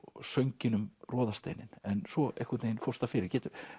sönginn um en svo einhvern veginn fórst það fyrir